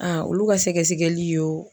olu ka sɛgɛsɛgɛli y'o